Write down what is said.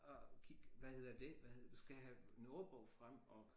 Og kig hvad hedder dét hvad hedder du skal have en ordbog frem og